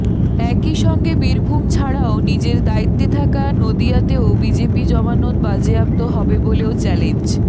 একই সঙ্গে বীরভূম ছাড়াও নিজের দায়িত্বে থাকা নদিয়াতেও বিজেপি জমানত বাজেয়াপ্ত হবে বলেও চ্যালেঞ্জ